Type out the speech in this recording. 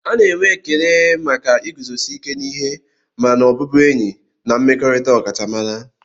A na-enwe ekele maka iguzosi ike n'ihe ma n'ọbụbụenyi na mmekọrịta ọkachamara.